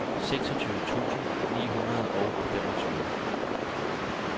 seksogtyve tusind ni hundrede og femogtyve